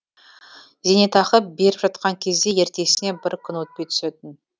зейнетақы беріп жатқан кезде ертесіне бір күн өтпей түсетін